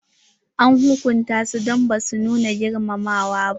An hukunta su don ba su nuna girmamawa ba.